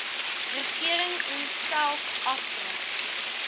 regering onsself afvra